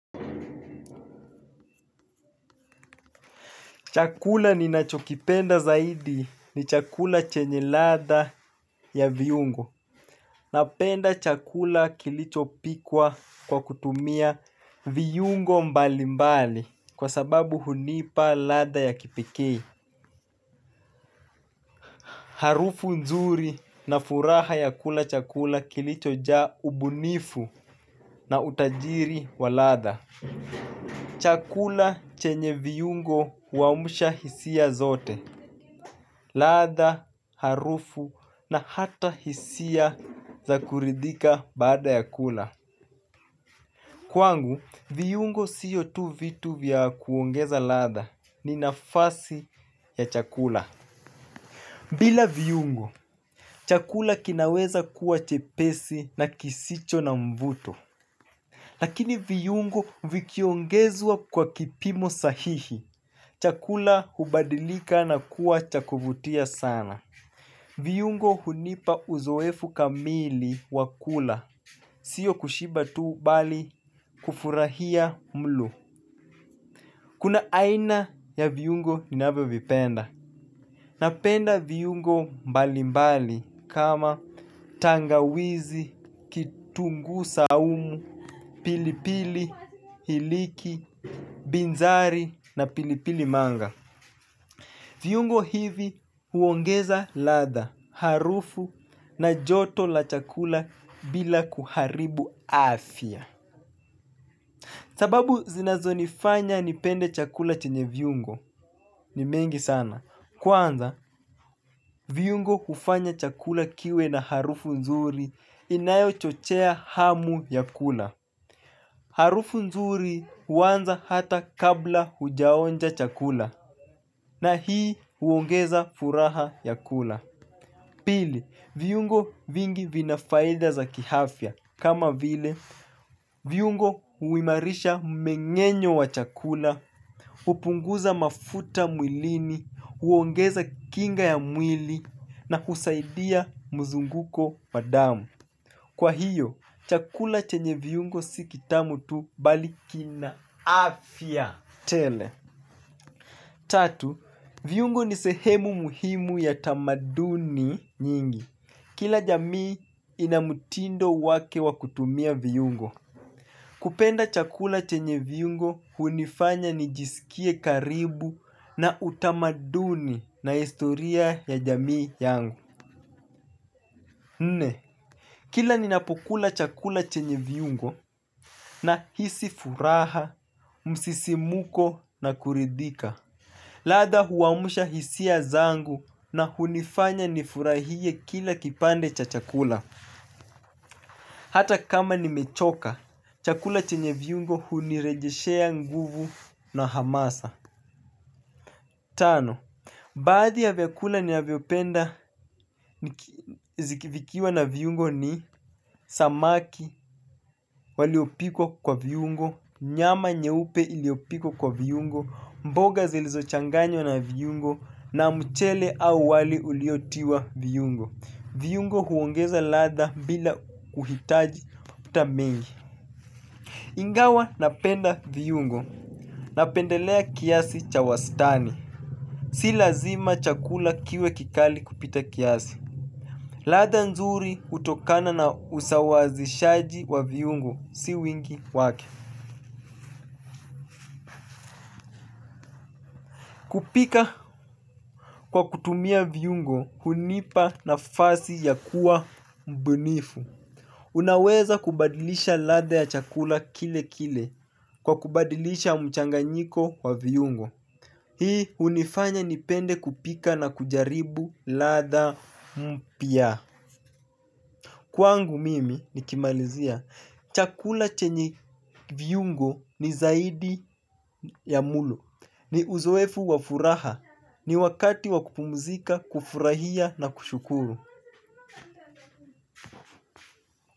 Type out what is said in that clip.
Chakula ni nacho kipenda zaidi ni chakula chenye ladha ya viungo. Napenda chakula kilicho pikwa kwa kutumia viungo mbali mbali kwa sababu hunipa ladha ya kipekee. Harufu nzuri na furaha ya kula chakula kilicho jaa ubunifu na utajiri wa ladha. Chakula chenye viungo huamusha hisia zote. Ladha, harufu na hata hisia za kuridhika baada ya kula. Kwangu, viungo sio tu vitu vya kuongeza ladha ni nafasi ya chakula. Bila viungo, chakula kinaweza kuwa chepesi na kisicho na mvuto. Lakini viungo vikiongezwa kwa kipimo sahihi chakula hubadilika na kuwa cha kuvutia sana. Viungo hunipa uzoefu kamili wakula sio kushiba tu bali kufurahia mlo. Kuna aina ya viungo ninavyo vipenda. Napenda viungo mbali mbali kama tangawizi, kitunguu saumu, pilipili, iliki, binzari na pilipili manga. Viungo hivi huongeza ladha, harufu na joto la chakula bila kuharibu afya. Sababu zinazo nifanya nipende chakula chenye viungo ni mengi sana. Kwanza, viungo hufanya chakula kiwe na harufu nzuri inayochochea hamu ya kula. Harufu nzuri huanza hata kabla hujaonja chakula na hii huongeza furaha ya kula. Pili, viungo vingi vinafaida za kiafya. Kama vile, viungo huimarisha mumengenyo wa chakula, hupunguza mafuta mwilini, huongeza kinga ya mwili, na kusaidia mzunguko wa damu. Kwa hiyo, chakula chenye viungo si kitamu tu bali kina afya. Tele, tatu, viiungo ni sehemu muhimu ya tamaduni nyingi. Kila jamii ina mutindo wake wa kutumia viungo. Kupenda chakula chenye viungo hunifanya nijisikie karibu na utamaduni na historia ya jamii yangu. Nne. Kila ninapokula chakula chenye viungo na hisi furaha, msisimuko na kuridhika. Ladha huamusha hisia zangu na hunifanya nifurahie kila kipande cha chakula. Hata kama nimechoka, chakula chenye viungo hunirejeshea nguvu na hamasa. Tano, baadhi ya vyakula nina vyopenda ziki vikiwa na viungo ni samaki waliopikwa kwa viungo, nyama nyeupe iliyopikwa kwa viungo, mboga zilizochanganywa na viungo, na mchele au wali uliotiwa viungo. Viungo huongeza ladha bila kuhitaji mafuta mengi. Ingawa napenda viungo. Napendelea kiasi cha wastani. Si lazima chakula kiwe kikali kupita kiasi. Ladha nzuri hutokana na usawazishaji wa viungo. Si wingi wake. Kupika kwa kutumia viungo, hunipa nafasi ya kuwa mbunifu. Unaweza kubadilisha ladha ya chakula kile kile kwa kubadilisha mchanganyiko wa viungo. Hii hunifanya nipende kupika na kujaribu ladha mpya. Kwwangu mimi nikimalizia chakula chenye viungo ni zaidi ya mlo. Ni uzoefu wa furaha, ni wakati wakupumzika, kufurahia na kushukuru.